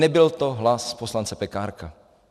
Nebyl to hlas poslance Pekárka.